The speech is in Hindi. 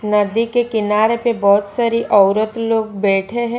नदी के किनारे पे बहोत सारी औरत लोग बैठे हैं।